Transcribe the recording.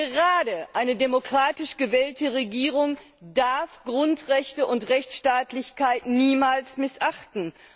Gerade eine demokratisch gewählte Regierung darf Grundrechte und Rechtsstaatlichkeit niemals missachten.